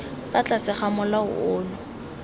fa tlase ga molao ono